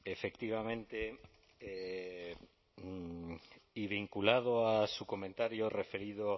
efectivamente y vinculado a su comentario referido